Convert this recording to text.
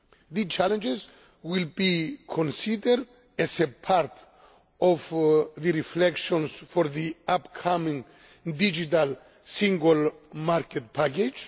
These challenges will be considered as part of the reflections for the upcoming digital single market package.